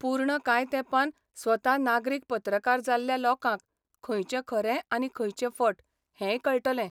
पूर्ण कांय तेंपान स्वता नागरीक पत्रकार जाल्ल्या लोकांक खंयचें खरें आनी खंयचें फट हेंय कळटलें.